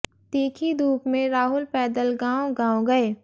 तीखी धूप में राहुल पैदल गांव गांव गए